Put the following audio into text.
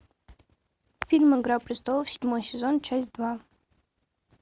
фильм игра престолов седьмой сезон часть два